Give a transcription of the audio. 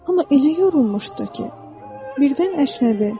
Amma elə yorulmuşdu ki, birdən əsnədi.